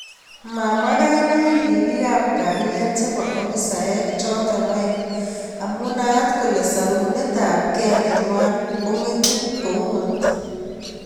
Mamwa kainaik ribik ab kalyet chebo ofisaek choto aengu amu naat kole sarunet ab ke neywon kongetu koeungot.